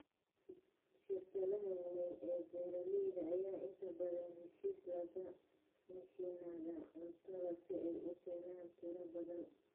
Shirkadaha waaweyn ee beeralayda ayaa inta badan heshiis la gala mishiinada cuntada si ay u keenaan tiro badan.